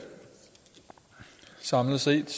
samlet set